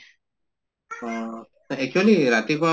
অহ actually ৰাতিপুৱা